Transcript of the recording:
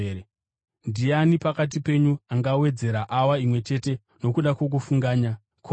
Ndiani pakati penyu angawedzera awa imwe chete paupenyu hwake nokuda kwokufunganya?